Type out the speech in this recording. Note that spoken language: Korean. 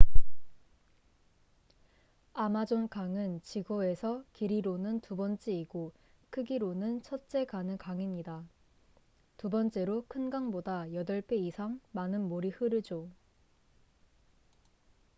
아마존 강은 지구에서 길이로는 두 번째이고 크기로는 첫째 가는 강입니다 두 번째로 큰 강보다 8배 이상 많은 물이 흐르죠